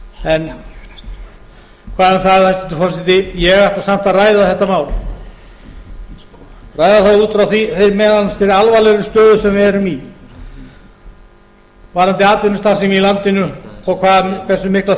en hvað um það hæstvirtur forseti ég ætla samt að ræða þetta mál ræða það út frá þeirri alvarlegu stöðu sem við erum í varðandi atvinnustarfsemi í landinu og hversu mikla